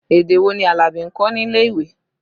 Èdè wò ni Alabi ń kọ́ nílé ìwé?